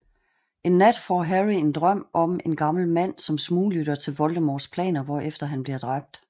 En nat får Harry en drøm om en gammel mand som smuglytter til Voldemorts planer hvorefter han bliver dræbt